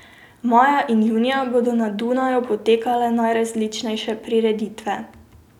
Maja in junija bodo na Dunaju potekale najrazličnejše prireditve.